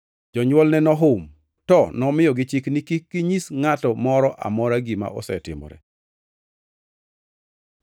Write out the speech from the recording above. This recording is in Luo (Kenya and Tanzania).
Jonywolne nohum, to nomiyogi chik ni kik ginyis ngʼato moro amora gima nosetimore.